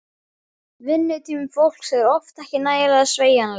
Vinnutími fólks er oft ekki nægilega sveigjanlegur.